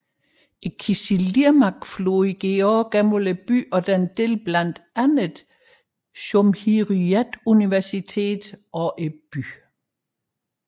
Kızılırmak floden går også igennem byen og deler blandt andet Cumhuriyet universitetet og byen